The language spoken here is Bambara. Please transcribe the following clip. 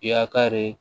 I y'a kari